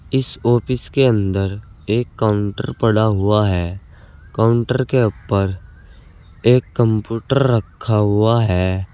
इस ऑफिस के अंदर एक काउंटर पड़ा हुआ है काउंटर के ऊपर एक कंप्यूटर रखा हुआ है।